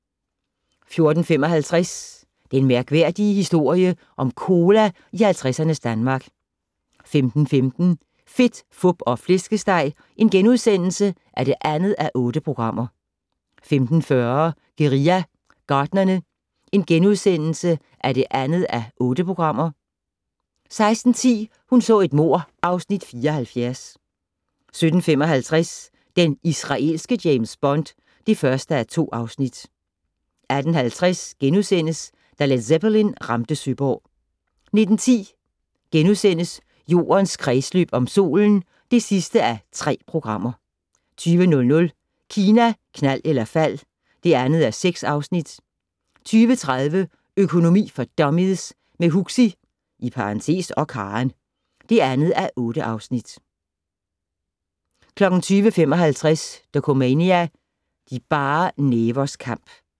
14:55: Den mærkværdige historie om cola i 50'ernes Danmark 15:15: Fedt, Fup og Flæskesteg (2:8)* 15:40: Guerilla Gartnerne (2:8)* 16:10: Hun så et mord (Afs. 74) 17:55: Den israelske James Bond (1:2) 18:50: Da Led Zeppelin ramte Søborg * 19:10: Jordens kredsløb om solen (3:3)* 20:00: Kina, knald eller fald (2:6) 20:30: Økonomi for dummies - med Huxi (og Karen) (2:8) 20:55: Dokumania: De bare nævers kamp